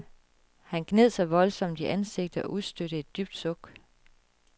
Han gned sig voldsomt i ansigtet og udstødte et dybt suk.